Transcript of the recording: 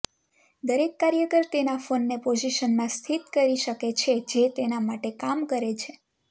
દરેક કાર્યકર તેના ફોનને પોઝિશનમાં સ્થિત કરી શકે છે જે તેના માટે કામ કરે છે